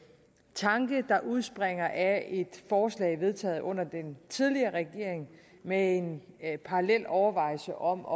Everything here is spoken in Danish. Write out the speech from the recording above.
tanke der udspringer af et forslag vedtaget under den tidligere regering med en parallel overvejelse om